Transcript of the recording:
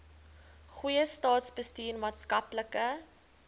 goeie staatsbestuur maatskaplike